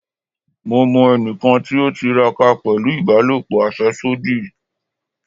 Mo mọ ẹnikan ti o tiraka pẹlu ibalopo afẹsodi